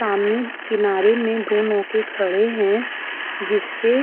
किनारे मे दो नौके खड़े हैं जिसपे --